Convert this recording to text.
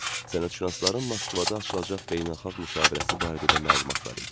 Sənətşünasların Moskvada açılacaq beynəlxalq müşavirəsi barədə də məlumat var idi.